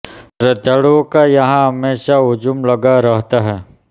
श्रद्धालुओं का यहां हमेशा हुजूम लगा रहता है